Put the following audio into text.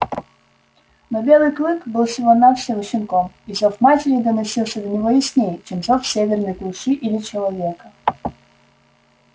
но белый клык был всего навсего щенком и зов матери доносился до него яснее чем зов северной глуши или человека